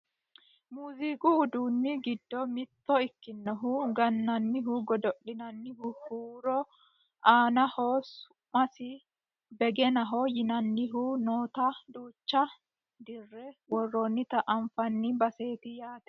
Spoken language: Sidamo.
muziiqu uduunni giddo mitto ikkinohu gannanni godo'linanna huuro aannohu su'masi begenaho yinannihu noota duucha dirre worroonnita anfanni baseeti yaate .